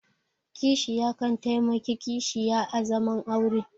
Kishiya kan taimaki kishiya a zaman aure